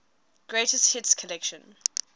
greatest hits collection